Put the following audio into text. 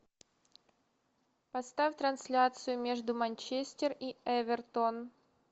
поставь трансляцию между манчестер и эвертон